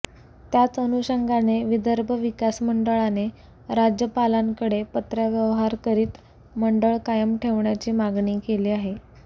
त्याच अनुषंगाने विदर्भ विकास मंडळाने राज्यपालांकडे पत्रव्यवहार करीत मंडळ कायम ठेवण्याची मागणी केली आहे